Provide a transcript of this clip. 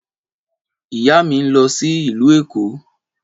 Ìyá mi ń lọ sí ìlú Èkó